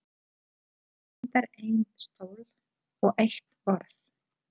Það vantar einn stól og eitt borð.